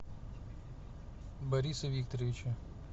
бориса викторовича